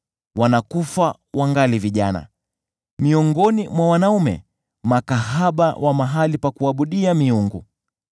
Wanakufa wangali vijana, miongoni mwa wanaume hanithi wa mahali pa kuabudia miungu.